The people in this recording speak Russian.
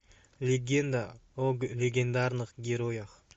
легенда о легендарных героях